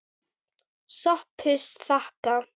SOPHUS: Þakka.